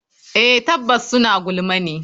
Eh tabbas suna gulma ne.